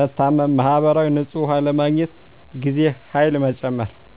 መታመም ማህበራዊ – ንጹህ ውሃ ለማግኘት ጊዜና ኃይል መጨመር